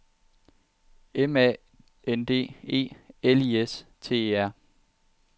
M A N D E L I S T E R